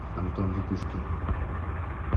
антон витушкин